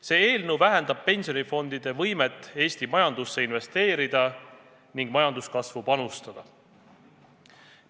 See eelnõu vähendab pensionifondide võimet Eesti majandusse investeerida ning majanduskasvu panustada.